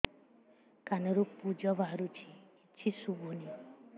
କାନରୁ ପୂଜ ବାହାରୁଛି କିଛି ଶୁଭୁନି